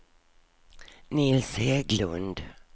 Nils Hägglund